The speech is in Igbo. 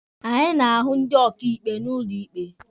Anyị na-ahụ ndị ọkaịkpe n'ụlọ ikpe.